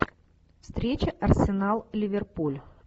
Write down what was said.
встреча арсенал ливерпуль